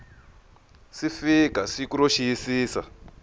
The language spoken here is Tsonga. si fika siku ro xiyisisa